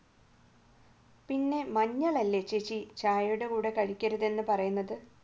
പിന്നെ മഞ്ഞൾ അല്ലേ ചേച്ചി ചായയുടെ കൂടെ കഴിക്കരുത് എന്ന് പറയുന്നത്